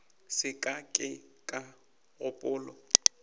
se ka ke ka gopola